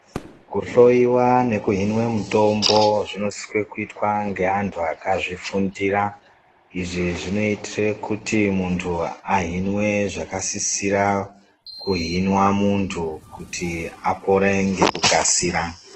Kuhloyiwa nekuhinwe mutombo zvinosiswe kuitwa ngeantu akazvifundira izvi zvinoitire kuti muntu ahinwe zvakasisira kuhinwa muntu kuti apore ngekukasira.